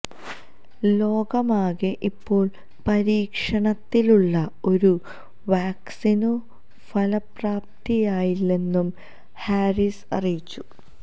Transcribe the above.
ലോകമാകെ ഇപ്പോള് പരീക്ഷണത്തിലുള്ള ഒരു വാക്സിനും ഫലപ്രാപ്തിയില്ലെന്നും ഹാരിസ് അറിയിച്ചു